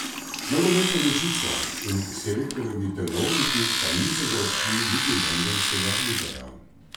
Nogometna vročica in selektorjevi telovniki pa niso zaobšli niti londonskega muzeja.